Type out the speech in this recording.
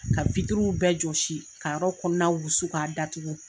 Ka bɛɛ jɔsi ka yɔrɔ kɔnɔna wusu k'a datugu.